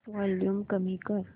volume कमी कर